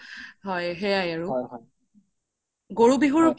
হয় সেইয়াই আৰু গৰু বিহুৰ পিছ দিনা